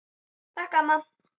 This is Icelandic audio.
Takk amma.